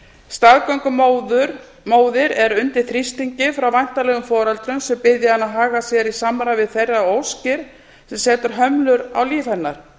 staðgöngumóðir er undir þrýstingi frá væntanlegum foreldrum sem biðja hana að haga sér í samræmi við þeirra óskir setur hömlur á líf hennar